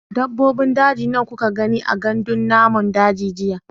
Dabbobin daji nawa kuka gani a gandun namun daji jiya?